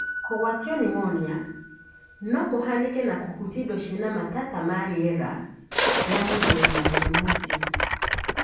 Kũgwatio pneumonia no kũhanĩke na kũhutia indo cĩina matata ma riera ria mũndũ wĩna mũrimũ ũcio.